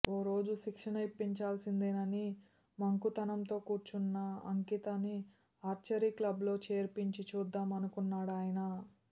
ఓ రోజు శిక్షణ ఇప్పించాల్సిందేనని మంకుతనంతో కూర్చున్న అంకితని ఆర్చరీ క్లబ్లో చేర్పించి చూద్దాం అనుకున్నాడాయన